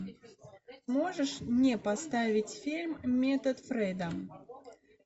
можешь мне поставить фильм метод фрейда